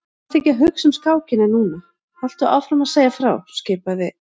Vertu ekki að hugsa um skákina núna, haltu áfram að segja frá skipaði